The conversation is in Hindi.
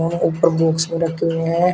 और ऊपर बॉक्स भी रखे हुए हैं।